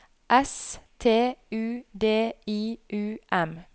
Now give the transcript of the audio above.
S T U D I U M